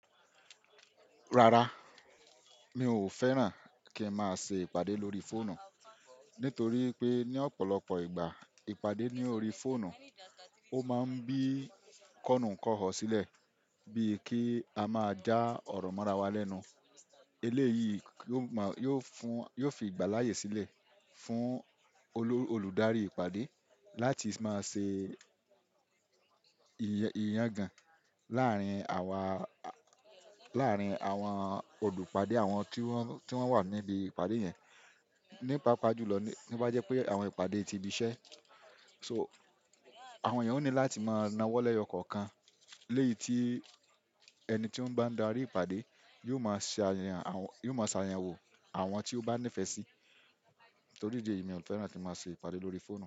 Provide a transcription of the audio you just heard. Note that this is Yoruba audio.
Rara, mi ò fẹ́ràn kí n máa ṣe ìpàdé lórí fóònù nítorí pé ní ọ̀pọ̀lọpọ̀ ìgbà ìpàdé ní orí fóònù ó máa ń bí kọ̀nù kọ̀ họ̀ sílẹ̀ bíi kí a máa já ọ̀rọ̀ mọ́ra wá lẹ́nu. Eléyìí yóò fi ìgbà láyé sílẹ̀ fún olùdarí ìpàdé láti máa ṣe ìyangàn láàárín àwọn olùpàdé àwọn tí wọ́n wà níbi ìpàdé yẹn. Ní paapá jú lọ to bá jẹ́ pé àwọn ìpàdé ti ibiṣẹ́, so àwọn ènìyàn ó ní láti máa nawọ́ lẹ́yọ̀ kọ̀ọ̀kan léyìí tí ẹni tí ó ń bá darí ìpàdé yóò máa ṣàyẹ̀wò àwọn tí ó bá nífẹ̀ẹ́ sí torí ìdí èyí mi ò fẹ́ràn kí n máa ṣe ìpàdé lórí fóònù.